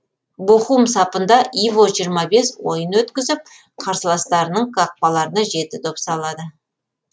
бохум сапында иво жиырма бес ойын өткізіп қарсыластарының қақпаларына жеті доп салады